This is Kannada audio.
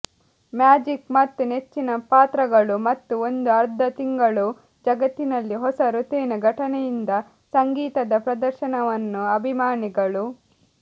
ಮ್ಯಾಜಿಕ್ ಮತ್ತು ನೆಚ್ಚಿನ ಪಾತ್ರಗಳು ಮತ್ತು ಒಂದು ಅರ್ಧ ತಿಂಗಳು ಜಗತ್ತಿನಲ್ಲಿ ಹೊಸ ಋತುವಿನ ಘಟನೆಯಿಂದ ಸಂಗೀತದ ಪ್ರದರ್ಶನವನ್ನು ಅಭಿಮಾನಿಗಳು